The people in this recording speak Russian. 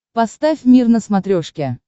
поставь мир на смотрешке